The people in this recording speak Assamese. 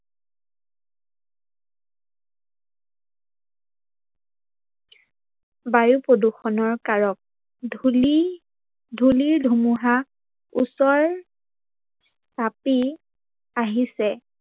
বায়ু প্ৰদূৰ্ষনৰ কাৰক-ধূলি, ধূলিৰ ধুমুহা ওচৰ চাপি আহিছে